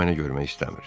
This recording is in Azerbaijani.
O məni görmək istəmir.